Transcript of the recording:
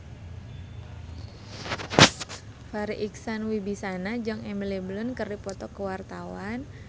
Farri Icksan Wibisana jeung Emily Blunt keur dipoto ku wartawan